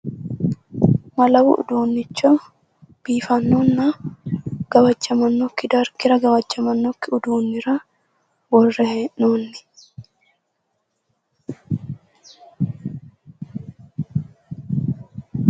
malawu uduunnicho biifannonna gawajjamanokkiwa dargira gawajjamannokki udduunnira worre hee'noonni.